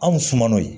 Anw suma n'o ye